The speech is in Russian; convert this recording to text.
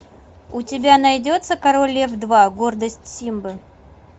у тебя найдется король лев два гордость симбы